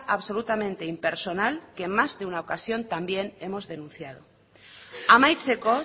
absolutamente impersonal que en más de una ocasión también hemos denunciado amaitzeko